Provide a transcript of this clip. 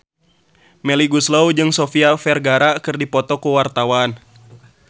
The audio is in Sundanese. Melly Goeslaw jeung Sofia Vergara keur dipoto ku wartawan